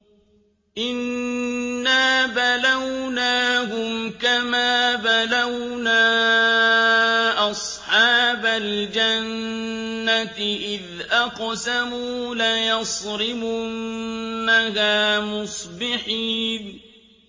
إِنَّا بَلَوْنَاهُمْ كَمَا بَلَوْنَا أَصْحَابَ الْجَنَّةِ إِذْ أَقْسَمُوا لَيَصْرِمُنَّهَا مُصْبِحِينَ